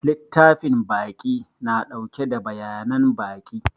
Littafin baƙi na ɗauke da bayanan baƙi.